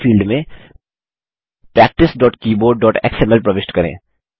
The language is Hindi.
नेम फील्ड में practicekeyboardएक्सएमएल प्रविष्ट करें